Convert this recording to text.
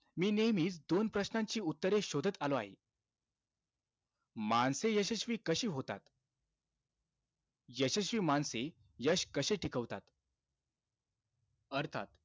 मी नेहमीचं दोन प्रश्नांची उत्तरे शोधत आलो आहे. माणसे यशस्वी कशी होतात? यशस्वी माणसे यश कशे टिकवतात? अर्थात,